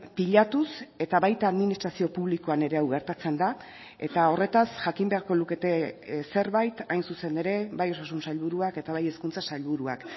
pilatuz eta baita administrazio publikoan ere hau gertatzen da eta horretaz jakin beharko lukete zerbait hain zuzen ere bai osasun sailburuak eta bai hezkuntza sailburuak